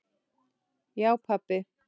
Já pabbi.